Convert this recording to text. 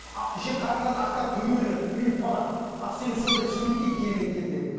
ішек қарындарын ақтарап төге берген үйіліп қалған ақселеу сондай суреттейді керемет келтіреді